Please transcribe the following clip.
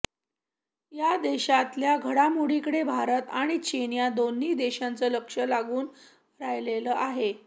या देशातल्या घडोमोडींकडे भारत आणि चीन या दोन्ही देशांचं लक्ष लागून राहिलेलं आहे